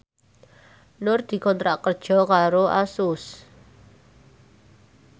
Nur dikontrak kerja karo Asus